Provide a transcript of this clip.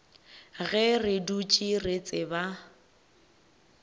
ge re dutše re tseba